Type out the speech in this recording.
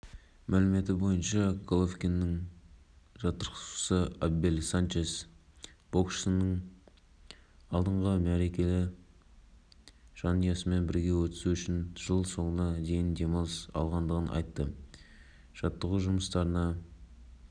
одан басқа желтоқсанда астана мен ақмола облысында оңтүстік-батыстан соққан жел болып екпіні болады кей жерлерінде бұрқасындатады